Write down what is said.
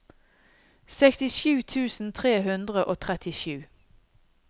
sekstisju tusen tre hundre og trettisju